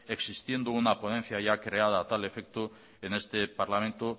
existiendo una ponencia ya creada a tal efecto en este parlamento